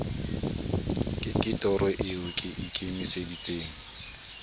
ke toro eo ke ikemiseditseng